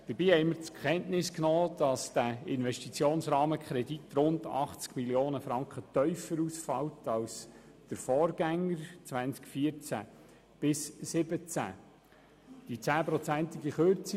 Dabei haben wir zur Kenntnis genommen, dass der Investitionsrahmenkredit rund 80 Mio. Franken tiefer ausfällt als der vorhergegangene für die Jahre 2014–2017.